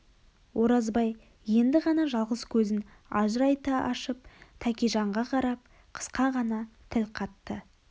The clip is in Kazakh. оразбай енді ғана жалғыз көзін ажырайта ашып тәкежанға қарап қысқа ғана тіл қатты